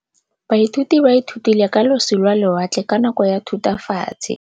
Baithuti ba ithutile ka losi lwa lewatle ka nako ya Thutafatshe.